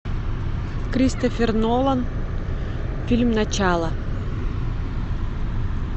кристофер нолан фильм начало